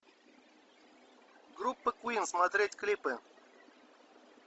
группа квин смотреть клипы